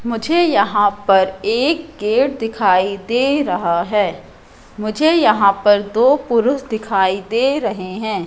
मुझे यहां पर एक गेट दिखाई दे रहा है मुझे यहां पर दो पुरुष दिखाई दे रहे हैं।